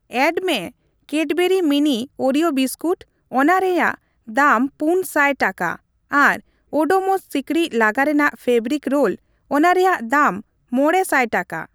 Add ᱢᱮ Cadbury mini Oreo biscuit ᱚᱱᱟ ᱨᱮᱭᱟᱜ ᱫᱟᱢ ᱯᱩᱱ ᱥᱟᱭ ᱴᱟᱠᱟ ᱟᱨ ᱳᱰᱳᱢᱚᱥ ᱥᱤᱠᱲᱤᱡ ᱞᱟᱜᱟ ᱨᱮᱱᱟᱜ ᱯᱷᱮᱵᱨᱤᱠ ᱨᱳᱞ ᱚᱱᱟ ᱨᱮᱭᱟᱜ ᱫᱟᱢ ᱢᱚᱲᱮ ᱥᱟᱭ ᱴᱟᱠᱟ ᱾